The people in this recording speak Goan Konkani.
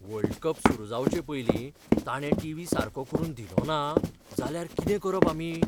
वर्ल्ड कप सुरू जावचेपयलीं ताणे टीव्ही सारको करून दिलोना जाल्यार कितें करप आमी?